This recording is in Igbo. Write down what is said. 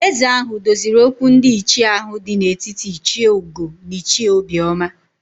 Ézē ahụ doziri okwu ndị ichie ahụ dị n'etiti Ichie Ugo na Ichie Obioma